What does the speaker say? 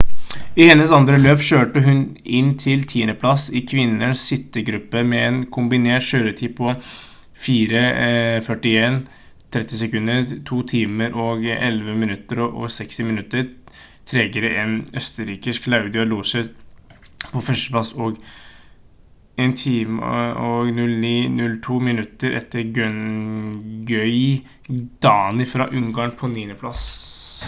i hennes andre løp kjørte hun inn til tiendeplass i kvinnenes sittegruppe med en kombinert kjøretid på 4:41.30 2:11.60 minutter tregere enn østerrikske claudia loesch på førsteplass og 1:09.02 minutter etter gøngyi dani fra ungarn på niendeplass